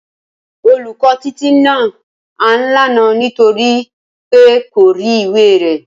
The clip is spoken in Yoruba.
Olùkó Títí nà án lánàá nítorí pé kò rí ìwé rè